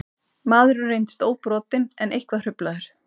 Maðurinn reyndist óbrotinn en eitthvað hruflaður